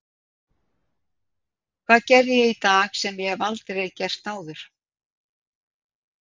Hvað gerði ég í dag sem ég hef aldrei gert áður?